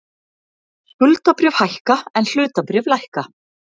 Skuldabréf hækka en hlutabréf lækka